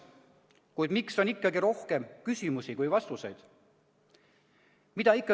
Kuid miks on ikkagi rohkem küsimusi kui vastuseid?